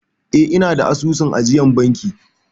Eh, ina da asusun ajiyar banki.